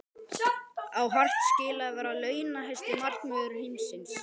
Á Hart skilið að vera launahæsti markvörður heims?